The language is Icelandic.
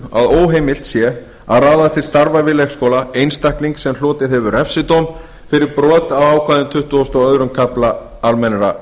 að óheimilt sé að ráða til starfa við leikskóla einstakling sem hlotið hefur refsidóm fyrir brot á ákvæðum tuttugasta og öðrum kafla almennra